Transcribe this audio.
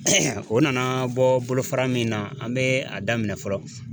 o nana bɔ bolofara min na an bɛ a daminɛ fɔlɔ